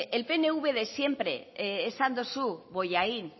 el pnv de siempre esan duzu bollain